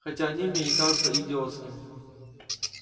хотя они мне и кажутся идиотскими